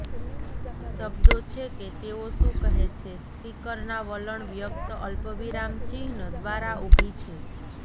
શબ્દો છે કે તેઓ શું કહે છે સ્પીકરના વલણ વ્યક્ત અલ્પવિરામ ચિહ્ન દ્વારા ઊભી છે